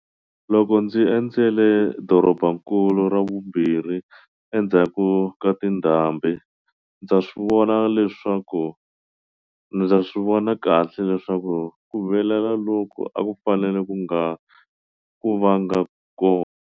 Loko ndzi endzele dorobankulu ra vumbirhi endzhaku ka tindhambi, ndza swi vona kahle leswaku ku vilela loku a ku fanele ku nga vanga kona.